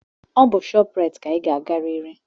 Ọ bụ shoprite ka anyị ga-agarịrị!